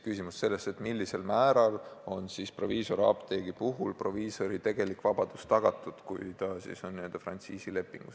Küsimus on selles, millisel määral on proviisoriapteegi puhul proviisori tegelik vabadus tagatud, kui ta on sõlminud frantsiisilepingu.